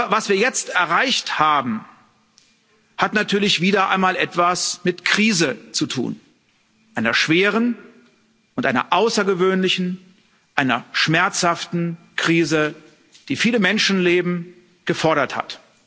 Was wir jetzt erreicht haben, hat natürlich wieder einmal etwas mit Krise zu tun einer schweren und einer außergewöhnlichen, einer schmerzhaften Krise, die viele Menschenleben gefordert hat.